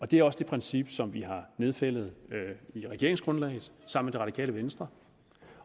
det er også det princip som vi har nedfældet i regeringsgrundlaget sammen med det radikale venstre